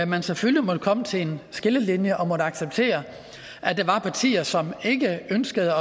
man selvfølgelig måtte komme til en skillelinje og måtte acceptere at der var partier som ikke ønskede